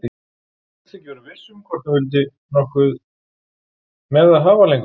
Hún virtist ekki vera viss hvort hún vildi nokkuð með það hafa lengur.